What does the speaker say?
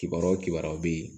Kibaruya o kibaruya bɛ yen